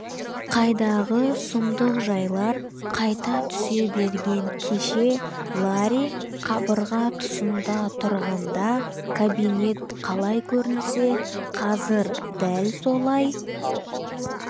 қайдағы сұмдық жайлар қайта түсе берген кеше ларри қабырға тұсында тұрғанда кабинет қалай көрінсе қазір дәл солай